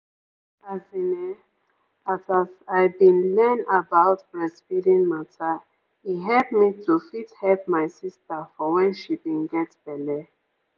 as in[um]as as i bin learn about breastfeeding mata e hep me to fit hep my sister for when she bin get belle.